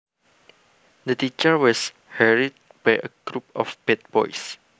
The teacher was harried by a group of bad boys